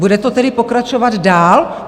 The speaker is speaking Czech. Bude to tedy pokračovat dál?